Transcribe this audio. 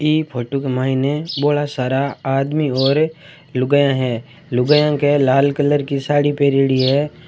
ये फोटो का मैंने भोळा सारा आदमी और लुगाइया है लुगाइया के लाल कलर की साडी पेरीडी है।